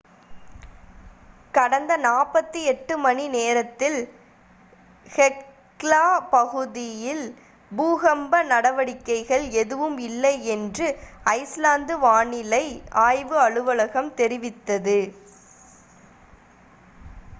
கடந்த 48 மணிநேரத்தில் ஹெக்லா பகுதியில் பூகம்ப நடவடிக்கைகள் எதுவும் இல்லை என்று ஐஸ்லாந்து வானிலை ஆய்வு அலுவலகம் தெரிவித்துள்ளது